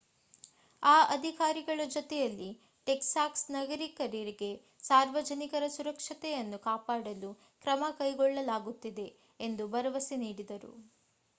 ಆ ಅಧಿಕಾರಿಗಳ ಜೊತೆಯಲ್ಲಿ ಟೆಕ್ಸಾಸ್ ನಾಗರಿಕರಿಗೆ ಸಾರ್ವಜನಿಕರ ಸುರಕ್ಷತೆಯನ್ನು ಕಾಪಾಡಲು ಕ್ರಮ ಕೈಗೊಳ್ಳಲಾಗುತ್ತಿದೆ ಎಂದು ಭರವಸೆ ನೀಡಿದರು